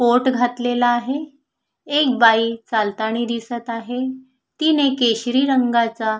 coat घातलेला आहे एक बाई चालतानी दिसत आहे तिने केशरी रंगाचा--